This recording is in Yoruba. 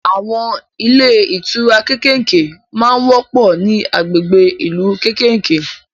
Àwọn ilé ìtura kékèké ma ń wọ́pọ̀ ní agbègbè ìlú kékèké